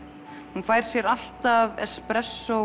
hún fær sér alltaf